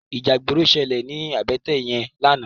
Íjà igbóró ṣëlé ni àbëtè yèn làná